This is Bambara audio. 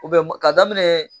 ka daminɛ